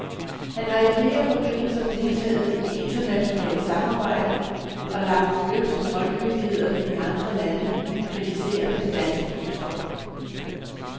Han har i flere forbindelser deltaget i internationalt samarbejde og lagt øre til toldmyndighederne i andre lande, der kritiserer den danske kontrol.